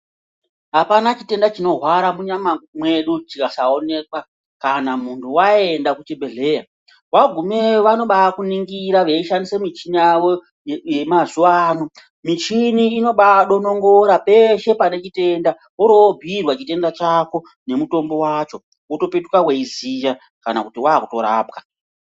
Apana chitenda chino hwara mu nyama mwedu chikasa onekwa kana muntu wayenda ku chibhedhleya wagumeyo vanobai kuningira vei shandise michina yavo ye mazuva ano michini inobai donongora peshe pane chitenda wori wo bhiirwa chako ne mutombo wacho woto petuka weyi ziya kana kuti wakuto rapwa.